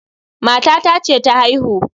matata ce ta haihu